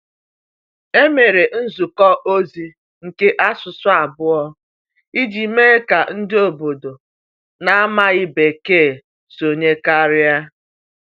E mere nzukọ ozi nke asụsụ abụọ iji mee ka ndị obodo na-amaghị Bekee sonye karịa.